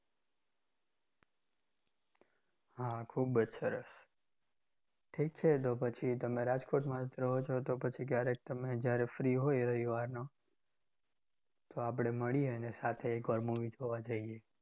હા ખૂબ જ સરસ. ઠીક છે તો પછી તમે રાજકોટમાં જ રહો છો તો પછી ક્યારેક તમે જ્યારે free હોય રવિવારના તો આપણે મળીએ અને સાથે એક વાર movie જોવા જઈએ.